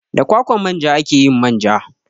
Da kwakwan manja ake yin manja.